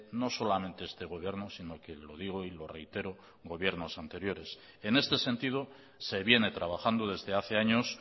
no solamente este gobierno sino que lo digo y lo reitero gobiernos anteriores en este sentido se viene trabajando desde hace años